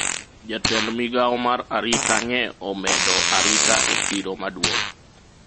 jatend migawo mar arita nye omedo arita e chiro maduong'